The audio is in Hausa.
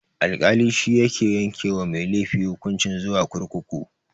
Alkali shike yanke wa mai laifi hukunci zuwa kurkuku.